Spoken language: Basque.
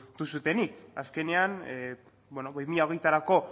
duzuenik azkenean bi mila hogeirako